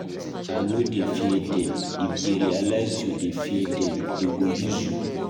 I no dey fear dem, if dey realize you dey fear dem dey go use you.